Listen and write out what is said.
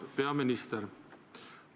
Auväärt peaminister!